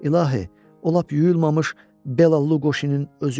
İlahi, o lap yuyulmamış Bela Luqoşinin özü idi.